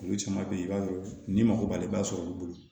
Olu caman be ye i b'a ye ni mago b'ale b'a sɔrɔ olu bolo